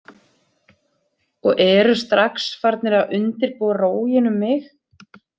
Og eru strax farnir að undirbúa róginn um mig.